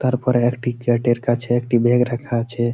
তারপরে একটি গেট এর কাছে একটি বেগ রাখা আছে।